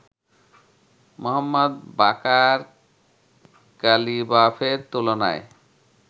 Mohammad Baqer কালিবাফের তুলনায়